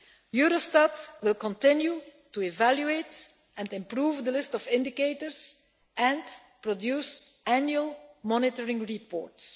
Eurostat will continue to evaluate and improve the list of indicators and produce annual monitoring reports.